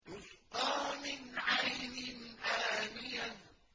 تُسْقَىٰ مِنْ عَيْنٍ آنِيَةٍ